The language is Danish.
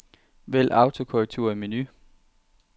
Vælg autokorrektur i menu.